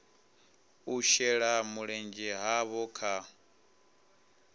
u shela mulenzhe havho kha